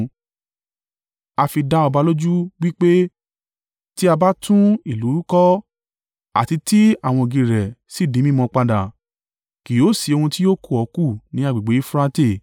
A fi dá ọba lójú wí pé tí a bá tún ìlú kọ́ àti ti àwọn ògiri rẹ̀ si di mímọ padà, kì yóò sì ohun ti yóò kù ọ́ kù ní agbègbè Eufurate.